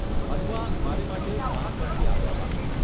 અથવા મારે માટે, કામ પરથી આવ્યા બાદ.